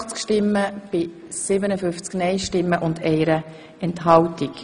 Sie haben Ziffer 2 angenommen.